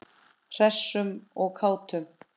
Hressum og kátum.